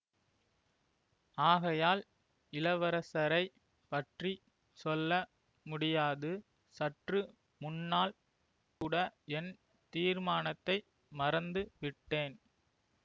ஆகையால் இளவரசரை பற்றி சொல்ல முடியாது சற்று முன்னால் கூட என் தீர்மானத்தை மறந்து விட்டேன்